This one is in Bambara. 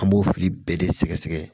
An b'o fili bɛɛ de sɛgɛsɛgɛ